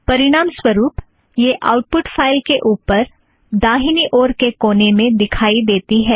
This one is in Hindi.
परिणामस्वरूप यह आउटपुट फ़ाइल के ऊपर दाहिने ओर के कोने में दिखाई देती है